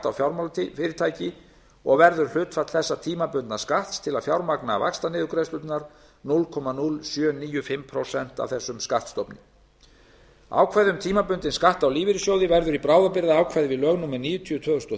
á fjármálafyrirtæki og verður hlutfall þessa tímabundna skatts til að fjármagna vaxtaniðurgreiðslur núll komma núll sjö níu fimm prósent af þessum skattstofni ákvæði um tímabundinn skatt á lífeyrissjóði verður í bráðabirgðaákvæði við lög númer níutíu tvö þúsund og